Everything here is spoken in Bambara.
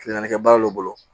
Kile naani kɛ baara dɔ bolo